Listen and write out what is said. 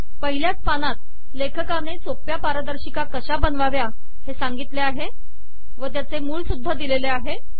पहिल्याच पानात लेखकाने सोप्या पारदर्शिका कशा बनवाव्या हे सांगितले आहे व त्यांचे मूळ सुद्धा दिलेले आहे